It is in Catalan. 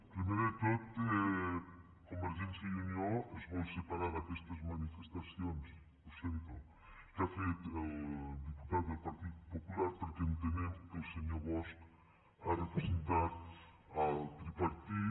primer de tot convergència i unió es vol separar d’aquestes manifestacions ho sento que ha fet el diputat del partit popular perquè entenem que el senyor bosch ha representat el tripartit